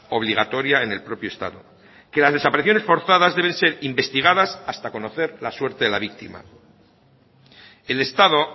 obligatoria en el propio estado que las desapariciones forzadas deben ser investigadas hasta conocer la suerte de la víctima el estado